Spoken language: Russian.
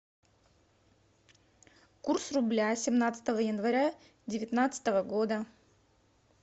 курс рубля семнадцатого января девятнадцатого года